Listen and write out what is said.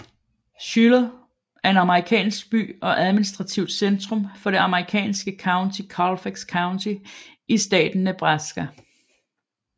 Schuyler er en amerikansk by og administrativt centrum for det amerikanske county Colfax County i staten Nebraska